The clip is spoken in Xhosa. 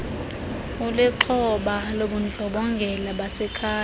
ulixhoba lobundlobongela basekhaya